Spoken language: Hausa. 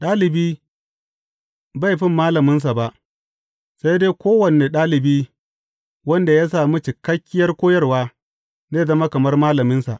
Ɗalibi bai fi malaminsa ba, sai dai kowane ɗalibi wanda ya sami cikakkiyar koyarwa, zai zama kamar malaminsa.